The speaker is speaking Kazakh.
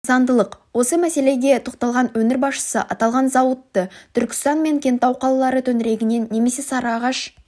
заңдылық осы мәселеге тоқталған өңір басшысы аталған зауытты түркістан мен кентау қалалары төңірегіннен немесе сарыағаш